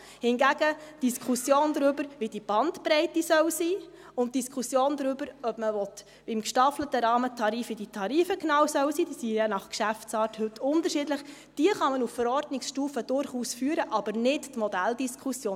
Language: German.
Hingegen kann man auf Verordnungsstufe die Diskussion darüber, wie diese Bandbreite sein soll, durchaus führen sowie die Diskussion darüber, wie diese Tarife im gestaffelten Rahmentarif genau sein sollen – die sind ja je nach Geschäftsart heute unterschiedlich –, aber nicht die Modelldiskussion.